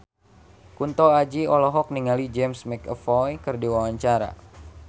Kunto Aji olohok ningali James McAvoy keur diwawancara